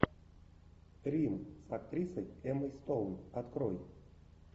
рим с актрисой эммой стоун открой